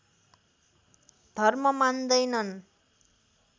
धर्म मान्दैनन्